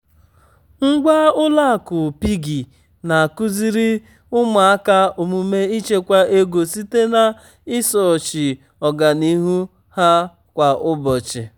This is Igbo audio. ngwa ụlọ akụ piggy na-akụziri ụmụaka omume ịchekwa ego site na-ịsochi ọganihu ha kwa ụbọchị.